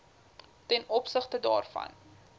ten opsigte daarvan